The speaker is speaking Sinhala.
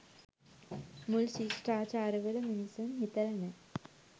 මූල් ශිෂ්ඨාචාරවල මිනිසුන් හිතලා නෑ